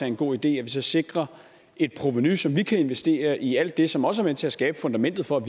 en god idé at vi så sikrer et provenu så vi kan investere i alt det som også er med til at skabe fundamentet for at